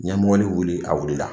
N ye mɔbili wuli, a wulila la.